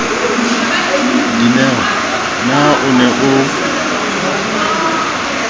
dineo na o ne o